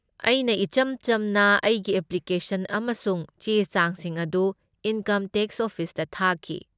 ꯑꯩꯅ ꯏꯆꯝ ꯆꯝꯅ ꯑꯩꯒꯤ ꯑꯦꯄ꯭ꯂꯤꯀꯦꯁꯟ ꯑꯃꯁꯨꯡ ꯆꯦ ꯆꯥꯡꯁꯤꯡ ꯑꯗꯨ ꯏꯟꯀꯝ ꯇꯦꯛꯁ ꯑꯣꯐꯤꯁꯇ ꯊꯥꯈꯤ꯫